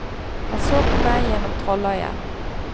Han så på meg gjennom trolløyet.